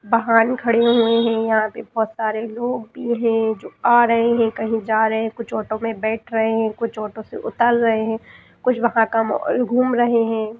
वाहन खड़े हुए हैं यहाँ पे बहोत सारे लोग भी हैं जो आ रहे हैं कहीं जा रहे हैं कुछ ऑटो में बैठ रहे हैं कुछ ऑटो से उतार रहे हैं कुछ वहाँ क घूम रहे हैं।